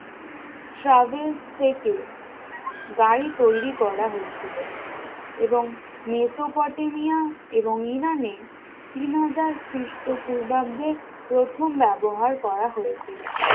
travels থেকে গাড়ি তৈরী করা হয়েছিল এবং মেসোপটেমিয়া এবং ইরানে তিন হাজার খ্রিস্টপূর্বাব্দের প্রথম ব্যবহার করা হয়েছিল